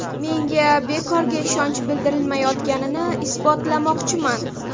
Menga bekorga ishonch bildirilmayotganini isbotlamoqchiman.